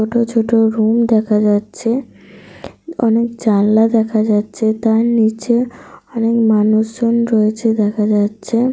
ছোট ছোট রুম দেখা যাচ্ছে। অনেক জানলা দেখা যাচ্ছে। তার নিচে অনেক মানুষজন রয়েছে দেখা যাচ্ছে।